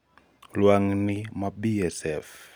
lwang'ni ma BSF,larvae mar BSF-BSFL